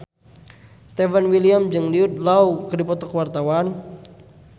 Stefan William jeung Jude Law keur dipoto ku wartawan